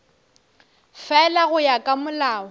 fela go ya ka molao